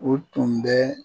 O tun bɛ